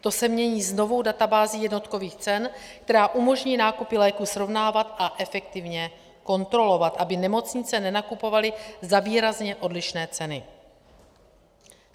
To se mění s novou databází jednotkových cen, která umožní nákupy léků srovnávat a efektivně kontrolovat, aby nemocnice nenakupovaly za výrazně odlišné ceny.